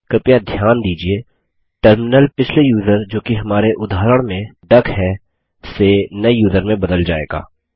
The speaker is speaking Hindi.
कृपया ध्यान दीजिये टर्मिनल पिछले यूज़र जोकि हमारे उदाहरण में डक है से नये यूज़र में बदल जाएगा